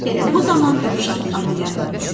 Elə bu zaman dovşanın adı yadına düşdü.